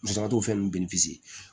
Musaka t'o fɛn ninnu